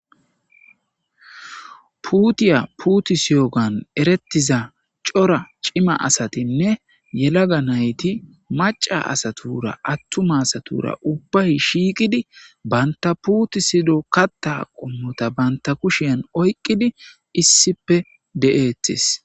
Puutiya puutusiyogan erettiza cora cima asatinne yelaga nayti maca asatura attuma satura ubbay shiiqidi banta puuti sido katta qommota banta kushian oyqqidi issipe de'eetis.